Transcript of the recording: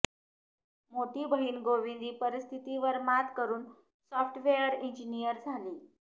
मोठी बहीण गोविंदी परिस्थितीवर मात करून सॅाफ्टवेअर इंजिनिअर झाली